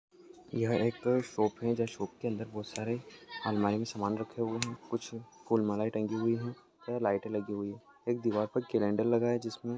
यह एक शॉप है शॉप के अंदर बहुत सारे अलमारी मे समान रखे हुए है कुछ फुल मालाए टाँगी हुई है लाईटे लगी हुई है एक दीवार पर कलेंडर लगा है जिसमे--